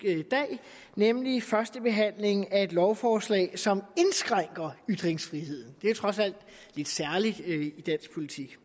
dag nemlig første behandling af et lovforslag som indskrænker ytringsfriheden det er trods alt lidt særligt i dansk politik